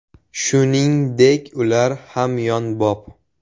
Shuningdek ular hamyonbop!